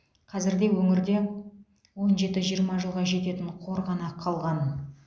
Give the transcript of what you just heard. қазірде өңірде он жеті жиырма жылға жететін қор ғана қалған